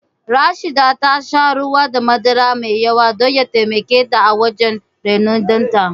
Rashida ta sha ruwa da madara mai yawa don ya taimake ta wajen rainon ɗanta